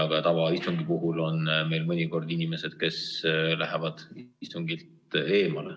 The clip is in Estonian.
Ka tavaistungi puhul on meil mõnikord inimesed, kes lähevad istungilt ära.